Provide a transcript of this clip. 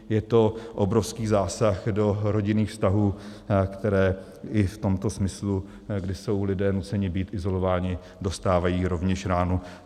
Je to obrovský zásah do rodinných vztahů, které i v tomto smyslu, když jsou lidé nuceni být izolováni, dostávají rovněž ránu.